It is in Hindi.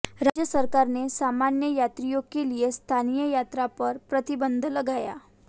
राज्य सरकार ने सामान्य यात्रियों के लिए स्थानीय यात्रा पर प्रतिबंध लगाया